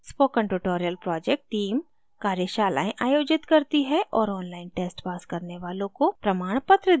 spoken tutorial project team कार्यशालाएं आयोजित करती है और online tests pass करने वालों को प्रमाणपत्र देती है